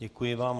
Děkuji vám.